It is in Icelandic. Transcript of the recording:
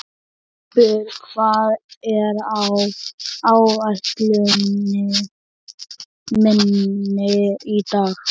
Greipur, hvað er á áætluninni minni í dag?